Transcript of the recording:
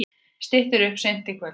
Styttir upp seint í kvöld